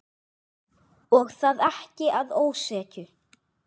Og það ekki að ósekju.